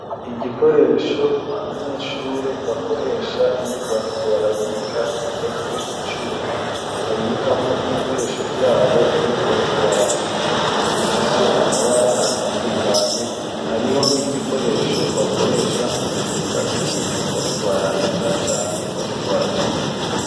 Igikoresho abanyeshure bakoresha iyo bariko barabika gikozwe mu cuma babikamwo ibikoresho vyabo iyo bariko barandika bifise amabara atandukanye hariho n'igikoresho bakoresha mu gufuta ibintu bariko barandika canke bariko baracapa.